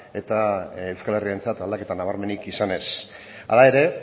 eta euskal herriarentzat aldaketa nabarmenik izan ez hala ere